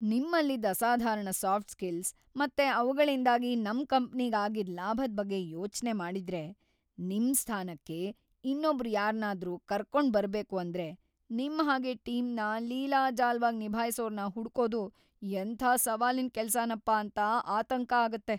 ನಿಮ್ಮಲ್ಲಿದ್ದ ಅಸಾಧಾರಣ soft skills ಮತ್ತೆ ಅವ್ಗಳಿಂದಾಗಿ ನಮ್‌ ಕಂಪ್ನಿಗ್‌ ಆಗಿದ್ದ್ ಲಾಭದ್‌ ಬಗ್ಗೆ ಯೋಚ್ನೆ ಮಾಡಿದ್ರೆ ನಿಮ್‌ ಸ್ಥಾನಕ್ಕೆ ಇನ್ನೊಬ್ರ್‌ ಯಾರ್ನಾದ್ರೂ ಕರ್ಕೊಂಡ್ಬರ್ಬೇಕು ಅಂದ್ರೆ ನಿಮ್ ಹಾಗೆ ಟೀಮ್‌ನ ಲೀಲಾಜಾಲವಾಗ್ ನಿಭಾಯ್ಸೋರ್ನ ಹುಡ್ಕೋದು ಎಂಥ ಸವಾಲಿನ್‌ ಕೆಲ್ಸನಪ್ಪಾ ಅಂತ ಆತಂಕ ಆಗತ್ತೆ.